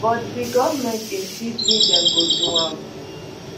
but di goment insist say dem go do am